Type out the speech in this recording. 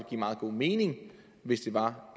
give meget god mening hvis det var